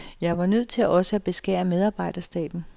Jeg var nødt til også at beskære medarbejderstaben.